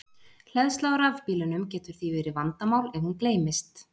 Hleðsla á rafbílunum getur því verið vandamál ef hún gleymist.